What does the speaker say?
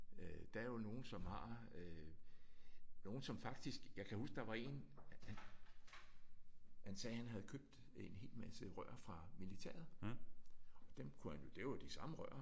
Øh der er jo nogen som har øh nogen som faktisk jeg kan huske der var én han sagde han havde købt en helt masse rør fra militæret. Og dem kunne han jo det er jo de samme rør